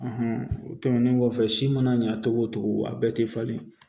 o tɛmɛnen kɔfɛ si mana ɲɛ cogo o cogo a bɛɛ tɛ falen